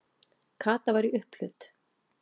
Kata var í upphlut.